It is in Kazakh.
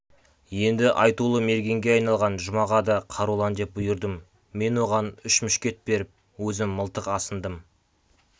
енді айтулы мергенге айналған жұмаға да қарулан деп бұйырдым мен оған үш мушкет беріп өзім мылтық асындым